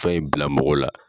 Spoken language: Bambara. Fɛn in bila mɔgɔ la.